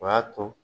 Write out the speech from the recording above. O y'a to